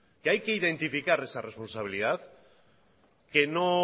que hay que identificar esa responsabilidad que no